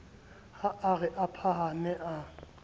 ha re a phahame a